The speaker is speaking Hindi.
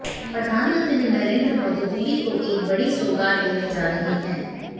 प्रधानमंत्री नरेंद्र मोदी दिल्ली को एक बड़ी सौगात देने जा रहे हैं